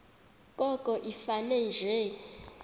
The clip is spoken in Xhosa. koko ifane nje